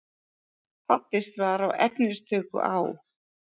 Fallist var á efnistöku á